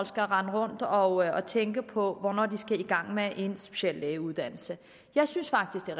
skal rende rundt og tænke på hvornår de skal gå i gang med en speciallægeuddannelse jeg synes faktisk at